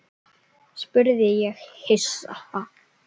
spurði ég hissa.